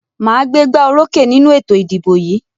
Màá gbégbá orókè nínú ètò ìdìbò yìí.